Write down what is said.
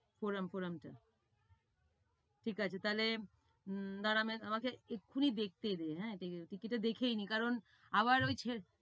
পুরাম পুরাম টা। ঠিক আছে তাইলে আমাকে এক্ষুনি দেখতে দে। হ্যাঁ দেখেই নেই কারণ আবার ঐ ছে~